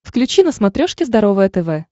включи на смотрешке здоровое тв